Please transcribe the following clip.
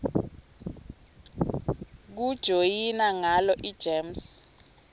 kujoyina ngalo igems